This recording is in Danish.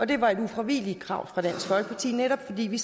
det var et ufravigeligt krav fra dansk folkeparti netop fordi vi